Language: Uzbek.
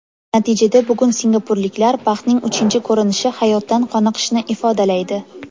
Natijada bugun singapurliklar baxtning uchinchi ko‘rinishi hayotdan qoniqishni ifodalaydi.